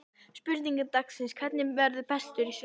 Spurning dagsins er: Hver verður bestur í sumar?